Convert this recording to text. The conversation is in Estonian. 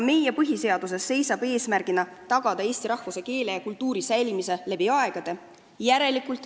Meie põhiseadus sätestab eesmärgina tagada eesti rahvuse, keele ja kultuuri säilimine läbi aegade.